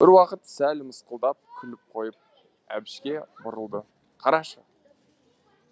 бір уақыт сәл мысқылдап күліп қойып әбішке бұрылды қарашы